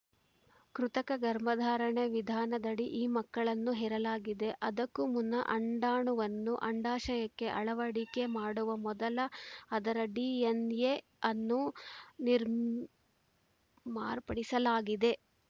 ಕೃತಕ ಗರ್ಭಧಾರಣೆ ವಿಧಾನದಡಿ ಈ ಮಕ್ಕಳನ್ನು ಹೆರಲಾಗಿದೆ ಅದಕ್ಕೂ ಮುನ್ನ ಅಂಡಾಣುವನ್ನು ಅಂಡಾಶಯಕ್ಕೆ ಅಳವಡಿಕೆ ಮಾಡುವ ಮೊದಲು ಅದರ ಡಿಎನ್‌ಎಯನ್ನು ನಿರ್ಮ್ ಮಾರ್ಪಡಿಸಲಾಗಿದೆ